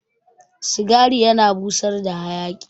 Cigari yana busar da hayaki